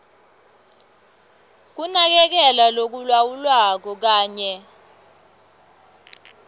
kunakekelwa lokulawulwako kanye